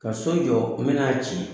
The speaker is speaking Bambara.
Ka so jɔ n bɛn'a ci